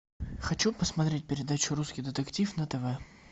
хочу посмотреть передачу русский детектив на тв